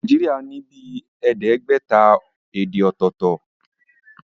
Nàìjíríà ní bíi ẹẹdẹgbẹta èdè ọ̀tọ̀tọ̀